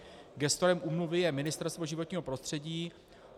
Gestorem úmluvy je Ministerstvo životního prostředí.